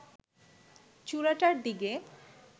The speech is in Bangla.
চূড়াটার দিকে